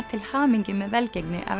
til hamingju með velgengni